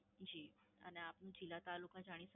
જી, અને આપની જીલ્લા-તાલુકા જાણી